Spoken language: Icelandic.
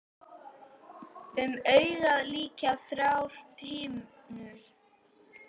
Um augað lykja þrjár himnur.